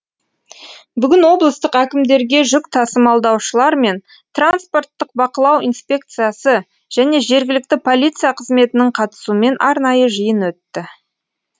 бүгін облыстық әкімдікте жүк тасымалдаушылар мен транспорттық бақылау инспекциясы және жергілікті полиция қызметінің қатысуымен арнайы жиын өтті